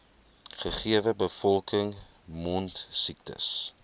gegewe bevolking mondsiektes